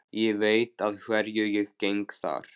Ég veit að hverju ég geng þar.